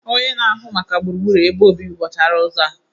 Onye na-ahụ maka gburugburu ebe obibi buchara ụzọ a